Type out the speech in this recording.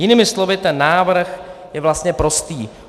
Jinými slovy ten návrh je vlastně prostý.